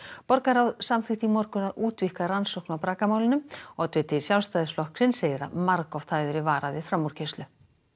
borgarráð samþykkti í morgun að útvíkka rannsókn á oddviti Sjálfstæðisflokksins segir að margoft hafi verið varað við framúrkeyrslu